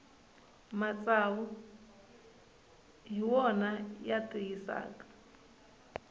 matsavu hi wona ya tiyisaka